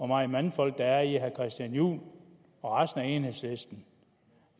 meget mandfolk der er i herre christian juhl og resten af enhedslisten